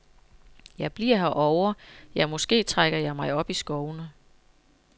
Jeg bliver herovre, ja måske trækker jeg mig op i skovene.